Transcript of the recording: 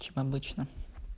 чем обычно